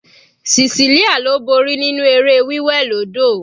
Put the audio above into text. Cecelia ló borí nínú eré wí wẹ̀ lódò.